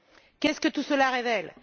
Qu'est ce que tout cela révèle?